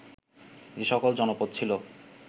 যে সকল জনপদ ছিল